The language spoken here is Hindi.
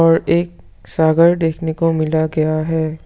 और एक सागर देखने को मिला गया है।